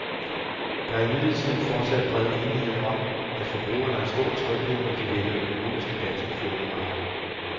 Der er imidlertid fortsat bred enighed om, at forbrugerne har stor tryghed, når de vælger økologiske danske fødevarer.